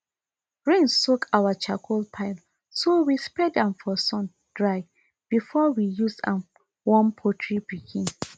rain soak our charcoal pile so we spread am for sun dry before we use am warm poultry pikin